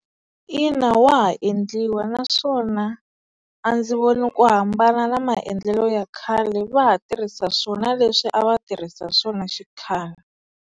Ina, wa ha endliwa naswona a ndzi voni ku hambana na maendlelo ya khale va ha tirhisa swona leswi a va tirhisa swona xikhale.